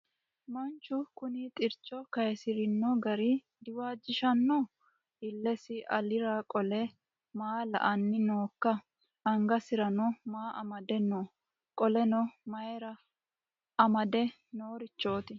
Manchu kuni xircho kayiisirino gari diwaajishanno? Illesi alira qole maa la"anni nookka? Angasirano maa amade no? Qoleno mayiira amade noorichoti?